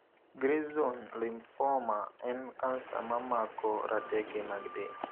Gray zone lymphoma en kansa mamaoko rateke mag del.